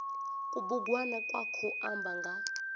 kubugwana kwa khou amba nga